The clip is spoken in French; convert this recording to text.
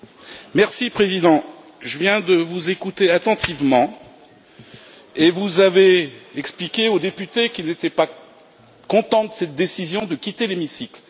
Monsieur le Président, je viens de vous écouter attentivement et vous avez expliqué aux députés qui n'étaient pas contents de cette décision de quitter l'hémicycle.